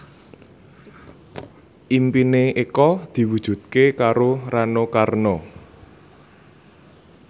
impine Eko diwujudke karo Rano Karno